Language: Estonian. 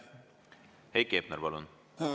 Heiki Hepner, palun!